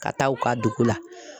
Ka taa u ka dugu la.